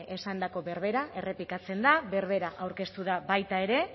esandako berbera errepikatzen da berbera aurkeztu da baita ere